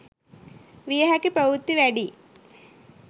විය හැකි ප්‍රවෘත්ති වැඩියි.